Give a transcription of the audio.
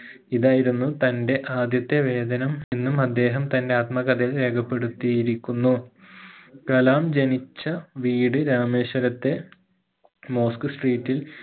ഇതായിരുന്നു തന്റെ ആദ്യത്തെ വേദനം എന്നും അദ്ദേഹം തന്റെ ആത്മകഥയിൽ രേഖപെടുത്തിയിരിക്കുന്നു കലാം ജനിച്ച വീട് രാമേശ്വരത്തെ മോസ്ക് street ഇൽ